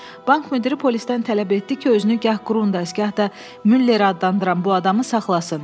Bank müdiri polistən tələb etdi ki, özünü gah Qrundayz, gah da Müller adlandıran bu adamı saxlasın.